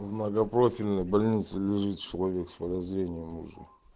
в многопрофильной больнице лежит человек с подозрением уже